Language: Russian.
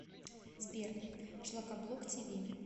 сбер шлакоблок ти ви